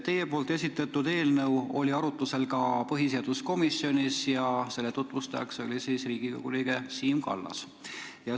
Teie esitatud eelnõu oli arutlusel ka põhiseaduskomisjonis ja seda tutvustas Riigikogu liige Siim Kallas.